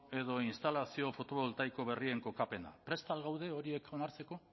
edo instalazio fotovoltaiko berrien kokapena prest al gaude horiek onartzeko